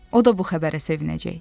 O da bu xəbərə sevinəcək.